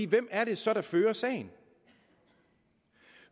hvem er det så der fører sagen